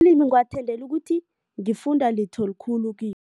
Ngiwathandela ukuthi ngifunda litho likhulu kiwo.